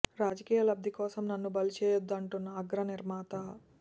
రాజకీయ లబ్ది కోసం నన్ను బలి చేయొద్దు అంటున్న అగ్ర నిర్మాత